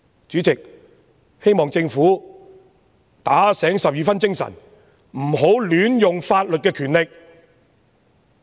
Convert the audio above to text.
主席，我希望政府打醒十二分精神，不要亂用法律賦予的權力。